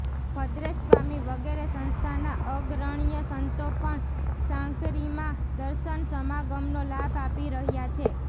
ભદ્રેશસ્વામી વગેરે સંસ્થાના અગ્રણ્ય સંતો પણ સાંકરીમાં દર્શન સમાગમનો લાભ આપી રહ્યા છે